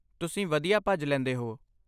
ਤੁਸੀਂ ਵਧੀਆ ਭੱਜ ਲੈਂਦੇ ਹੋ